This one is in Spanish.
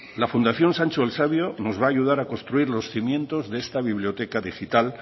la fundación sancho el sabio nos va ayudar a construir los cimientos de esta biblioteca digital